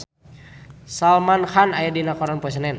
Salman Khan aya dina koran poe Senen